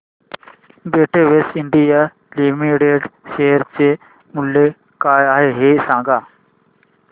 Betex India limited share चे मूल्य काय आहे हे सांगा